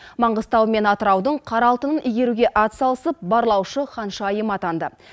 маңғыстау мен атыраудың қара алтынын игеруге атсалысып барлаушы ханшайым атанды